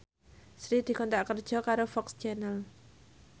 Sri dikontrak kerja karo FOX Channel